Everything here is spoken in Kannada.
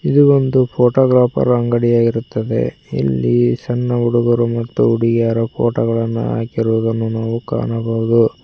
ಇದು ಒಂದು ಫೋಟೋಗಾಪರ ಅಂಗಡಿಯಾಗಿರುತ್ತದೆ ಇಲ್ಲಿ ಸಣ್ಣ ಹುಡಗರು ಮತ್ತು ಹುಡುಗ್ಯಾರ ಫೋಟೋ ಗಳನ್ನು ಹಾಕಿರುದನ್ನು ನಾವು ಕಾಣಬಹುದು.